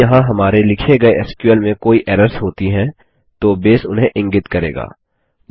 यदि यहाँ हमारे लिखे गये एसक्यूएल में कोई एरर्स होती हैं तो बेस उन्हें इंगित करेगा